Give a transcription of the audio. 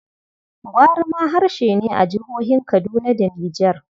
Gwari ma harshe ne a jihohin Kaduna da Niger.